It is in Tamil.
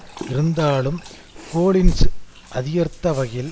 அமைச்சகத்தின் மீதான முழு கட்டுப்பாடும் இல்லாமல்